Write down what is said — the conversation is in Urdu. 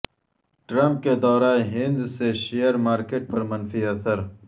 ٹرمپ کے دورہ ہند سے شیئر مارکیٹ پر منفی اثر